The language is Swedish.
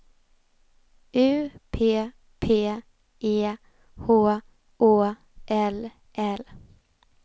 U P P E H Å L L